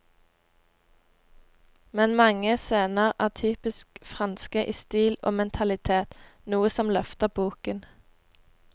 Men mange scener er typisk franske i stil og mentalitet, noe som løfter boken.